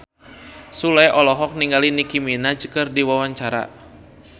Sule olohok ningali Nicky Minaj keur diwawancara